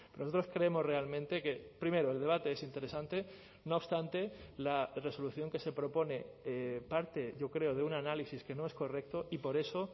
nosotros creemos realmente que primero el debate es interesante no obstante la resolución que se propone parte yo creo de un análisis que no es correcto y por eso